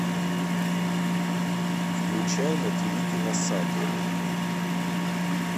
включай на тиви киносад